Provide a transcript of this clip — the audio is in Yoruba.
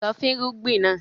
Lọ fúnrúgbìn náà!